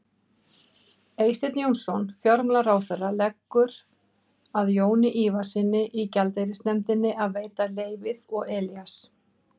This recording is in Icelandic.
Eysteinn Jónsson fjármálaráðherra leggur að Jóni Ívarssyni í gjaldeyrisnefndinni að veita leyfið og Elías